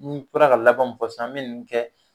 N bɔra ka laban mu fɔ sisan an me nunnu kɛ